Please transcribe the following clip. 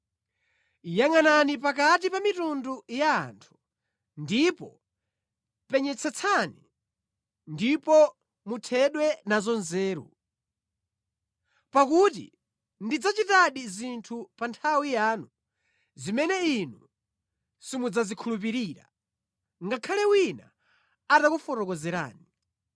“Yangʼanani pakati pa mitundu ya anthu, ndipo penyetsetsani, ndipo muthedwe nazo nzeru. Pakuti ndidzachitadi zinthu pa nthawi yanu zimene inu simudzazikhulupirira, ngakhale wina atakufotokozerani.